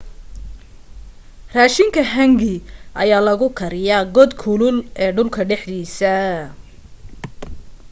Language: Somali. raashinka hangi ayaa lagu kariyaa god kulul ee dhulka dhexdiisa